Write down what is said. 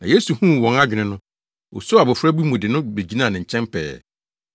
Na Yesu huu wɔn adwene no, osoo abofra bi mu de no begyinaa ne nkyɛn pɛɛ,